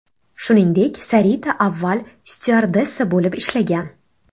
Shuningdek, Sarita avval styuardessa bo‘lib ishlagan.